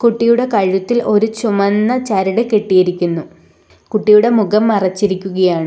കുട്ടിയുടെ കഴുത്തിൽ ഒരു ചുമന്ന ചരട് കെട്ടിയിരിക്കുന്നു കുട്ടിയുടെ മുഖം മറച്ചിരിക്കുകയാണ്.